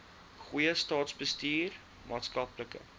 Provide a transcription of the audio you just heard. goeie staatsbestuur maatskaplike